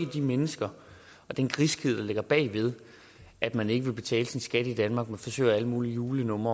de mennesker og den griskhed der ligger bag ved at man ikke vil betale sin skat i danmark men forsøger med alle mulige julelege